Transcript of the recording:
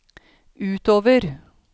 utover